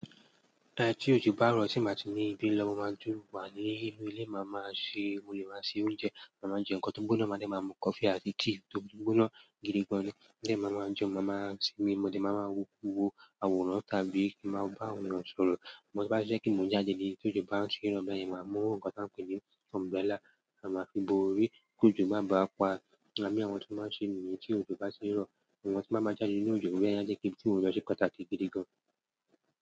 Lẹ́yìn tí òjò bá rọ̀, tí ǹbá ti ní ibí lọ mo máa dúró wà ní inú ilé, màá máa ṣe, mo lè máa ṣe oúnjẹ, màá má jẹ nǹkan tó gbóná, màá dẹ̀ máa mú coffee àti tea tó gbóná gidigan. Lẹ́yìn màá máa jẹun, màá má sinmi, mo dẹ̀ máa máa wo àwòrán tàbí kí màá bá àwọn èèyàn sọ̀rọ̀. Mo sì máa ṣe kí n jáde nígbà tí òjò bá ń ṣẹ́ rọ̀, bí báyìí màá mú nǹkan tí wọ́n ń pè ní umbrella, màá fi bo orí kí òjò má bá pa. Àmọ́ àwọn tí wọ́n bá ṣe míì tí òjò bá ṣé rọ̀, àwọn tí wọ́n bá máa jáde nínú òjò bí báyìí a jẹ́ kí túùrò lọ́ṣọ́ kọ́ tàkì gidigan.